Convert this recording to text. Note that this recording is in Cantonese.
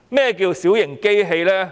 何謂小型機器？